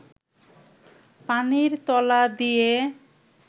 পানির তলা দিয়ে